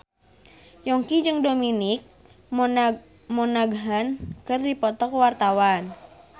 Yongki jeung Dominic Monaghan keur dipoto ku wartawan